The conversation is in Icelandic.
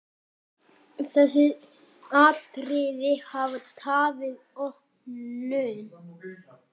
Þessi atriði hafi tafið opnun.